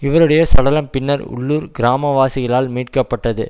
இவருடைய சடலம் பின்னர் உள்ளூர் கிராமவாசிகளால் மீட்கப்பட்டது